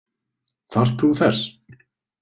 Þarft þú þess?